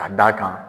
Ka d'a kan